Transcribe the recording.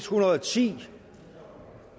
hundrede og ti